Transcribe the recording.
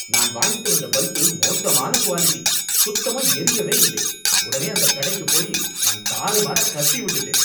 நான் வாங்கிட்டு வந்த பல்பு மோசமான குவாலிட்டி, சுத்தமா எரியவேயில்லை, உடனே அந்தக் கடைக்குப் போயி நான் தாறுமாறா கத்தி விட்டுட்டேன்.